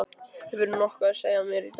Hefurðu nokkuð að segja mér í dag?